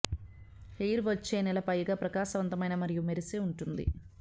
hair వచ్చే నెల పైగా ప్రకాశవంతమైన మరియు మెరిసే ఉంటుంది